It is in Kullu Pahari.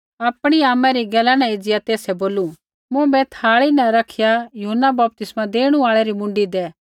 सौ आपणी आमा री गैला न एज़िया तेसै बोलू मुँभै थाई न रखिया यूहन्ना बपतिस्मा देणु आल़ै री मुँडी दै